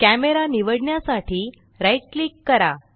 camera निवडण्यासाठी right click करा